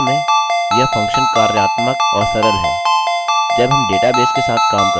अब वास्तव में यह फंक्शन कार्यात्मक और सरल है जब हम डेटाबेसेस के साथ काम करते हैं